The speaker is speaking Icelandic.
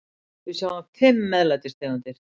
Við sjáum fimm MEÐLÆTIS tegundir.